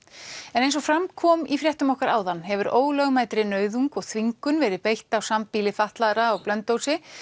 en eins og fram kom í fréttum okkar áðan hefur ólögmætri nauðung og þvingun verið beitt á sambýli fatlaðra á Blönduósi